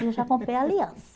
aí Eu já comprei a aliança.